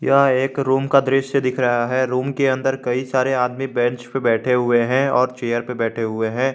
यह एक रूम का दृश्य दिख रहा है रूम के अंदर कई सारे आदमी बेंच पे बैठे हुए है और चेयर पर बैठें हुएं हैं।